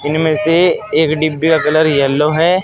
इनमें से एक डिब्बे का कलर येलो है।